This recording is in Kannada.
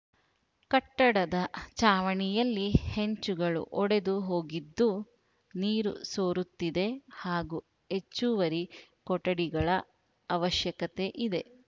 ಕಟ್ಟಡದ ಚಾವಣಿಯಲ್ಲಿ ಹೆಂಚುಗಳು ಒಡೆದು ಹೋಗಿದ್ದು ನೀರು ಸೋರುತ್ತಿದೆ ಹಾಗೂ ಹೆಚ್ಚುವರಿ ಕೊಠಡಿಗಳ ಅವಶ್ಯಕತೆ ಇದೆ